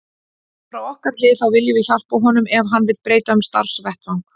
Frá okkar hlið þá viljum við hjálpa honum ef hann vill breyta um starfsvettvang.